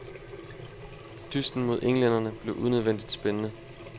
Dysten mod englænderne blev unødvendigt spændende.